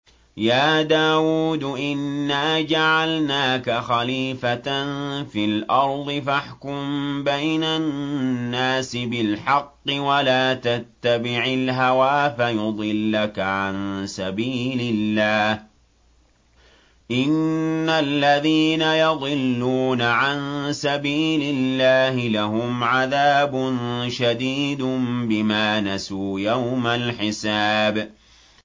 يَا دَاوُودُ إِنَّا جَعَلْنَاكَ خَلِيفَةً فِي الْأَرْضِ فَاحْكُم بَيْنَ النَّاسِ بِالْحَقِّ وَلَا تَتَّبِعِ الْهَوَىٰ فَيُضِلَّكَ عَن سَبِيلِ اللَّهِ ۚ إِنَّ الَّذِينَ يَضِلُّونَ عَن سَبِيلِ اللَّهِ لَهُمْ عَذَابٌ شَدِيدٌ بِمَا نَسُوا يَوْمَ الْحِسَابِ